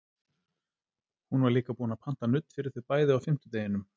Hún var líka búin að panta nudd fyrir þau bæði á fimmtudeginum.